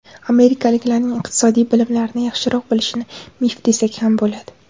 Amerikaliklarning iqtisodiy bilimlarni yaxshiroq bilishini mif desak ham bo‘ladi.